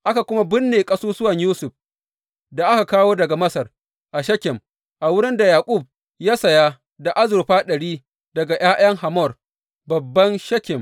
Aka kuma binne ƙasusuwan Yusuf da aka kawo daga Masar, a Shekem a wurin da Yaƙub ya saya da azurfa ɗari daga ’ya’yan Hamor, babban Shekem.